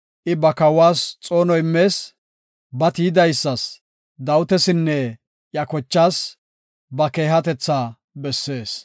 I ba kawas xoono immees; ba tiyidaysas, Dawitasinne iya kochaas, ba keehatetha bessees.